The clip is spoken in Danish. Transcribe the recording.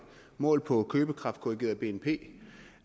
målt på købekraftkorrigeret bnp